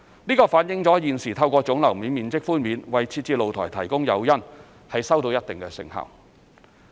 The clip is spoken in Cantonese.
這反映了現時透過總樓面面積寬免為設置露台提供誘因，收到一定成效。